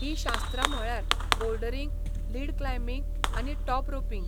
ही शास्त्रां म्हळ्यार bouldering, lead climbing आनी टॉप रोपिंग.